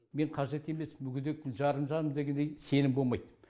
мен қажет емеспін мүгедекпін жарым жанмын дегендей сенім болмайды